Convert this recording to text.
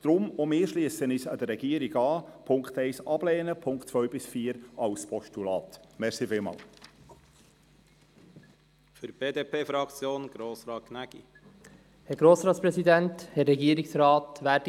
Deshalb schliessen auch wir uns der Regierung an und lehnen die Ziffer 1 ab und nehmen die Ziffern 2 bis 4 als Postulat an.